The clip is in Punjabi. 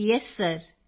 ਕ੍ਰਿਤਿਕਾ ਯੇਸ ਸਿਰ